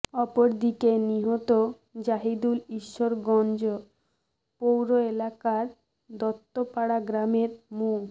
অপরদিকে নিহত জাহিদুল ঈশ্বরগঞ্জ পৌর এলাকার দত্তপাড়া গ্রামের মো